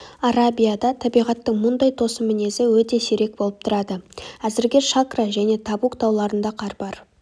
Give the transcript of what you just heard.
арабияда табиғаттың мұндай тосын мінезі өте сирек болып тұрады әзірге шакра және табук тауларында қар бар